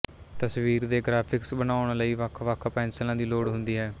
ਤਸਵੀਰ ਦੇ ਗਰਾਫਿਕਸ ਬਣਾਉਣ ਲਈ ਵੱਖਵੱਖ ਪੈਂਸਿਲਾਂ ਦੀ ਲੋੜ ਹੁੰਦੀ ਹੈ